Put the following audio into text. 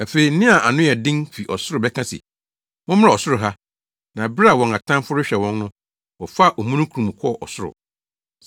Afei nne a ano yɛ den fi ɔsoro bɛka se, “Mommra ɔsoro ha.” Na bere a wɔn atamfo rehwɛ wɔn no, wɔfaa omununkum mu kɔɔ ɔsoro.